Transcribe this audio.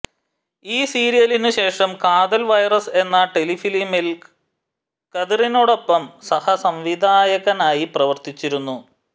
ഈ സീരിയലിനു ശേഷം കാതൽ വൈറസ് എന്ന ടെലിഫിലിമിൽ കതിറിനോടൊപ്പം സഹസംവിധായകനായി പ്രവർത്തിച്ചിരുന്നു